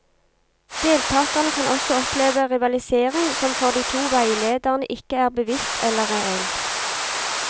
Deltakerne kan også oppleve rivalisering som for de to veilederne ikke er bevisst eller reell.